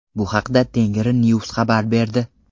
Bu haqda TengriNews xabar berdi .